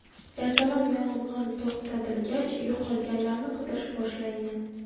Ertalab yong‘in to‘xtatilgach, yo‘qolganlarni qidirish boshlangan.